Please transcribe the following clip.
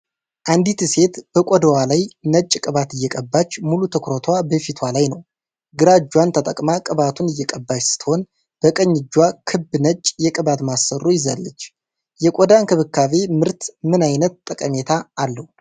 አንዲት ሴት በቆዳዋ ላይ ነጭ ቅባት እየቀባች ሙሉ ትኩረቷ በፊቷ ላይ ነው። ግራ እጇን ተጠቅማ ቅባቱን እየቀባች ስትሆን፣ በቀኝ እጇ ክብ ነጭ የቅባት ማሰሮ ይዛለች። የቆዳ እንክብካቤ ምርት ምን ዓይነት ጠቀሜታ አለው?